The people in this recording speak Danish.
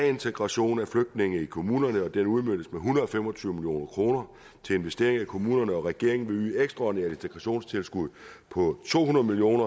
integration af flygtninge i kommunerne den udmøntes på en hundrede og fem og tyve million kroner til investering i kommunerne regeringen vil yde et ekstraordinært integrationstilskud på to hundrede million